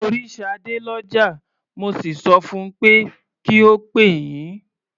Mo rí Ṣadé lọ́jà, mo sì sọ fun pé kí ó pè yín.